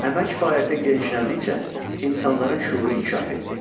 Əmək fəaliyyəti genişləndikcə insanların şüuru inkişaf etdi.